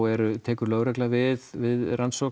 tekur lögregla við við rannsókn